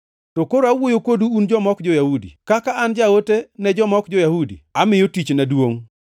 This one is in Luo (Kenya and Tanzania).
To koro awuoyo kodu un joma ok jo-Yahudi. Kaka an Jaote ne joma ok jo-Yahudi, amiyo tichna duongʼ,